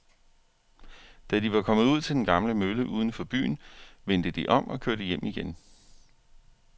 Da de var kommet ud til den gamle mølle uden for byen, vendte de om og kørte hjem igen.